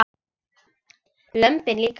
Lömbin líka.